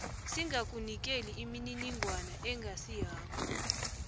singakunikeli imininingwana engasiyakho